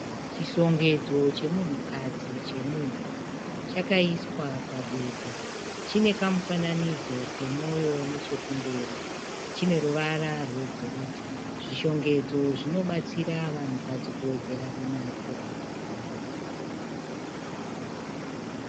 Chishongedzo chemunhukadzi chemuhuro. Chakaiswa pabepa. Chine kamufananidzo kemoyo nechekumberi. Chine ruvara rwegoridhe. Zvishongedzo zvinobatsira vanhukadzi kuwedzera runako.